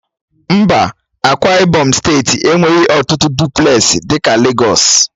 Mba, Ákwá ibom steeti enweghị ọtụtụ dụplesi dị ka Legọs